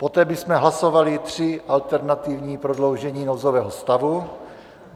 Poté bychom hlasovali tři alternativní prodloužení nouzového stavu.